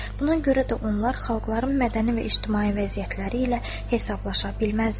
Buna görə də onlar xalqların mədəni və ictimai vəziyyətləri ilə hesablaşa bilməzdilər.